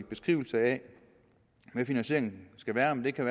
beskrivelse af hvad finansieringen skal være det kan